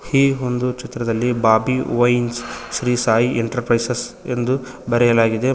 ಈ ಒಂದು ಚಿತ್ರದಲ್ಲಿ Bobby wines Shri Sai enterprises ಎಂದು ಬರೆಯಲಾಗಿದೆ ಮ--